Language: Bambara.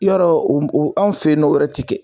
Yɔrɔ o o anw fe yen n'o yɛrɛ o ti kɛ